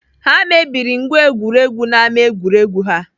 Ha mebiri ngwa egwuregwu n'ámá egwuregwu ha.